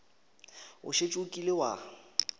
o šetše o kile wa